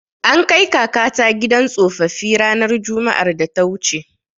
An kai kakata gidan tsofaffi ranar Juma'ar da ta wuce.